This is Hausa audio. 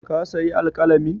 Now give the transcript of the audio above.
Ka sayi alƙalamin?